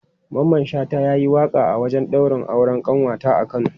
Mamman Shata ya yi waƙa a wajen daurin auren ƙanwata a Kano.